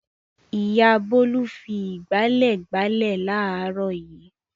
Ìyá Bólú fi ìgbálẹ̀ gbálẹ̀ láàárọ̀ yìí.